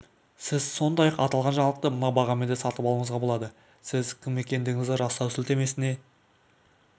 сіз сондай-ақ аталған жаңалықты мына бағамен де сатып алуыңызға болады сіз кім екендігіңізді растау сілтемесіне